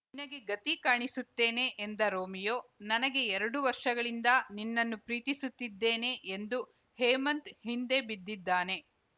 ನಿನಗೆ ಗತಿ ಕಾಣಿಸುತ್ತೇನೆ ಎಂದ ರೋಮಿಯೋ ನನಗೆ ಎರಡು ವರ್ಷಗಳಿಂದ ನಿನ್ನನ್ನು ಪ್ರೀತಿಸುತ್ತಿದ್ದೇನೆ ಎಂದು ಹೇಮಂತ್‌ ಹಿಂದೆ ಬಿದ್ದಿದ್ದಾನೆ